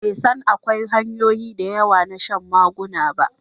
bai san akwai hanyoyi da yawa na shan maguna ba